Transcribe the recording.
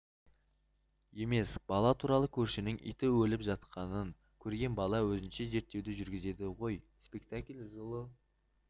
емес бала туралы көршінің иті өліп жатқанын көрген бала өзінше зерттеу жүргізеді ғой спектакль жылы